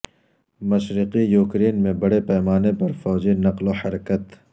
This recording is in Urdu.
مشرقی یوکرین میں بڑے پیمانے پر فوجی نقل و حرکت